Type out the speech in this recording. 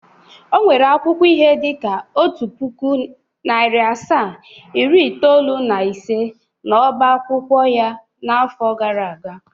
O nwere akwụkwọ ihe dịka otu pụkụ, narị asaa, iri itoolu na ise n'oba akwụkwọ ya n'afọ gara aga.